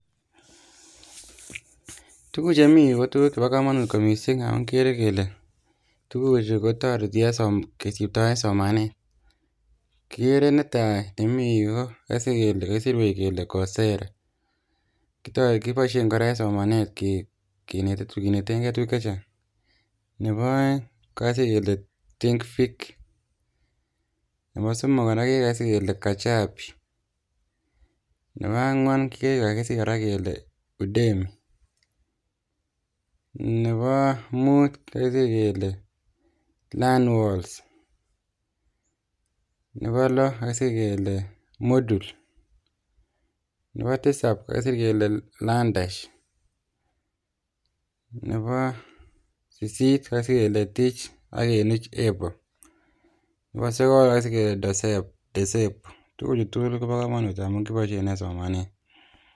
Tuguuk chemiyu kotuguuk chebo komonut kot missing ngamun kikeere kele, tuguchu kotoretii kisibtoen somanet, kigeere nitok kakisir kele Coursera kotoretii en ngalek ab somanet,,ak tugul chukakisir en yuh kobo komonut missing ngamun kiboishien en somanet.